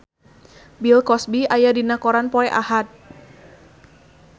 Bill Cosby aya dina koran poe Ahad